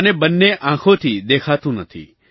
મને બંને આંખોથી દેખાતું નથી